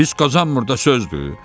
Pis qazanmır da, sözdür.